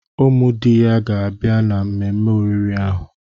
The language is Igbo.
Ụmụ di ya ga-abịa na mmemme oriri ahụ.